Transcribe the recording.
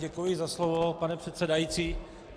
Děkuji za slovo, pane předsedající.